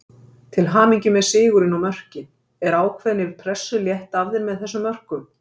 Til hamingju með sigurinn og mörkin, er ákveðni pressu létt af þér með þessum mörkum?